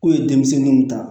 K'u ye denmisɛnninw ta